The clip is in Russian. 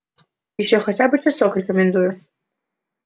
ещё хотя бы часок рекомендую